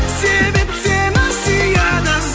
себеп сені сүйеді